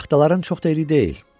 Taxtaların çox da iri deyil.